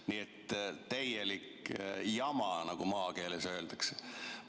Nii et täielik jama, nagu maakeeles öeldakse.